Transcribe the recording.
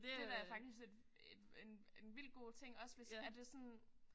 Det da faktisk et et en en vildt god ting også hvis er det sådan